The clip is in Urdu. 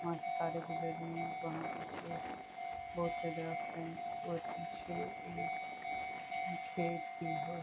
وہاں سے تارے گجر رہی ہے اور وہاں پیچھے بھوت سے درخت ہے اور پیچھے ایک کھیت بھی ہے۔